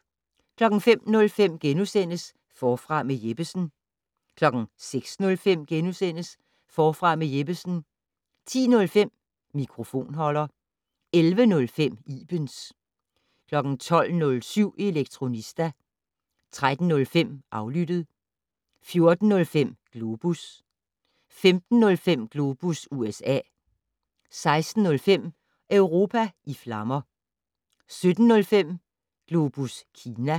05:05: Forfra med Jeppesen * 06:05: Forfra med Jeppesen * 10:05: Mikrofonholder 11:05: Ibens 12:07: Elektronista 13:05: Aflyttet 14:05: Globus 15:05: Globus USA 16:05: Europa i flammer 17:05: Globus Kina